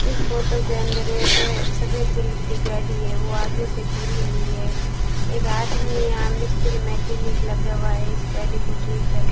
इस फोटो के अंदर के सफेद कलर की गाड़ी है वो आगे से खुली हुई है एक आदमी या मिस्त्री मैकेनिक लगा हुआ है इस गाड़ी को ठीक कर --